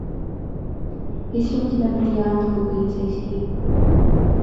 есть ли у тебя бриллиантовый полицейский